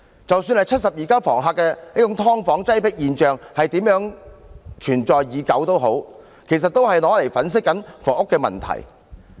即使"七十二家房客"的"劏房"擠迫現象如何存在已久，其實說出來都只是用來粉飾房屋問題。